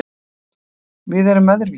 Við erum öðruvísi